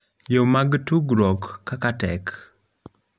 yo mag tudruok kaka tek